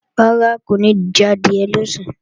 Rárá, kò ní jadìẹ lọ̀sán